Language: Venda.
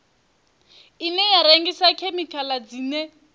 ine ya rengisa khemikhala dzine